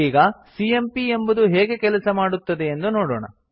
ಈಗ ಸಿಎಂಪಿ ಎಂಬುದು ಹೇಗೆ ಕೆಲಸ ಮಾಡುತ್ತದೆಯೆಂದು ನೋಡೋಣ